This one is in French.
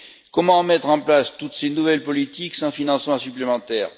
Comment mettre en place toutes ces nouvelles politiques sans financement supplémentaire?